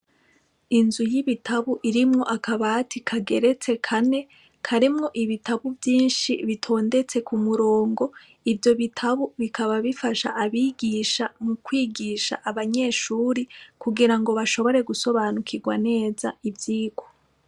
Inzu y’ibitabu irimwo akabati kageretse kane , karimwo ibitabu vyinshi bitondetse kumurongo , ivyo bitabu bikaba bifasha abigisha kwigisha abanyeshure kugirango bashobore gusobanukigwa neza ivyigwa.